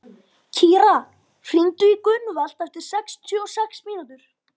Kíra, hringdu í Gunnvald eftir sextíu og sex mínútur.